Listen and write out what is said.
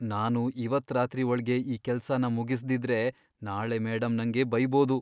ನಾನು ಇವತ್ತ್ ರಾತ್ರಿ ಒಳ್ಗೆ ಈ ಕೆಲ್ಸನ ಮುಗಿಸ್ದಿದ್ರೆ, ನಾಳೆ ಮೇಡಂ ನಂಗೆ ಬೈಬೋದು.